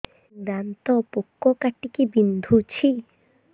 ଦାନ୍ତ ପୋକ କାଟିକି ବିନ୍ଧୁଛି